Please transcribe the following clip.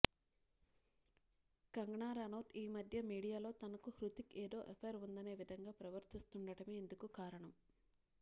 కంగనా రనౌత్ ఈ మధ్య మీడియాలో తనకు హృతిక్ ఏదో ఎఫైర్ ఉందనే విధంగా ప్రవర్తిస్తుండటమే ఇందుకు కారణం